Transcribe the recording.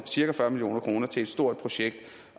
cirka fyrre million kroner til et stort projekt